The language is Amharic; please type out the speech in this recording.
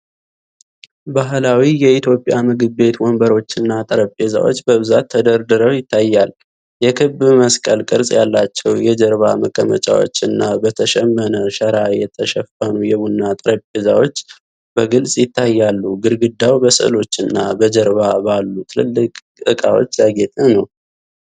ባህላዊ የኢትዮጵያ ምግብ ቤት ወንበሮችና ጠረጴዛዎች በብዛት ተደርድረው ይታያል። የክብ መስቀል ቅርጽ ያላቸው የጀርባ መቀመጫዎች እና በተሸመነ ሸራ የተሸፈኑ የቡና ጠረጴዛዎች በግልጽ ይታያሉ። ግድግዳው በሥዕሎች እና በጀርባ ባሉ ትልልቅ ዕቃዎች ያጌጠ ነው።